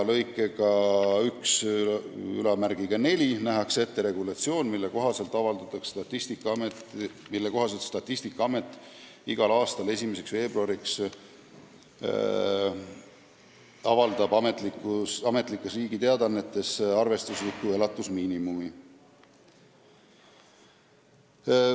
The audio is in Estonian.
Lõikega 14 aga nähakse ette regulatsioon, mille kohaselt Statistikaamet avaldab igal aastal 1. veebruariks Ametlikes Teadaannetes arvestusliku elatusmiinimumi.